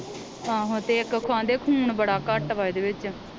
ਆਹੋ ਤੇ ਇਕ ਉਹ ਆਂਦੇ ਖੂਨ ਬੜਾ ਘੱਟ ਵਾ ਇਹ ਦੇ ਵਿਚ